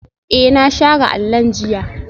Ee, na share allon jiya